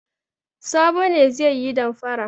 Sabo ne zai yi damfara.